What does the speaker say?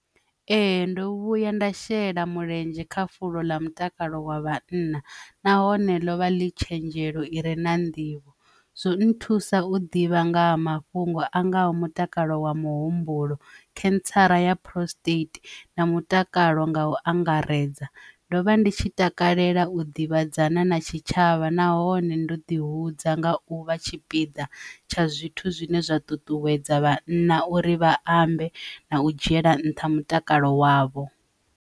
Ee, ndo vhuya nda shela mulenzhe kha fulo ḽa mutakalo wa vhanna nahone ḽovha ḽi tshenzhelo ire na nḓivho zwo nthusa u ḓivha nga ha mafhungo a ngaho mutakalo wa muhumbulo cancer ya prostate na mutakalo nga u angaredza ndo vha ndi tshi takalela u ḓivhadzana na tshitshavha nahone ndo ḓi hudza nga u vha tshipiḓa tsha zwithu zwine zwa ṱuṱuwedza vhanna uri vha ambe na u dzhiela nṱha mutakalo wavho.